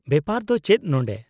-ᱵᱮᱯᱟᱨ ᱫᱚ ᱪᱮᱫ ᱱᱚᱸᱰᱮ ?